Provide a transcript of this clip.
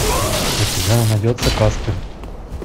у тебя найдется каспер